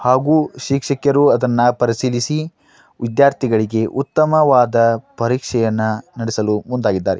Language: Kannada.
ಹಾಗು ಶಿಕ್ಷಕರು ಅದನ್ನ ಪರಿಸಿರಿಸಿ ವಿದ್ಯಾರ್ಥಿಗಳಿಗೆ ಉತ್ತಮವಾದ ಪರೀಕ್ಷಯನ್ನ ನಡಿಸಲು ಮುಂದಾಗಿದ್ದಾರೆ.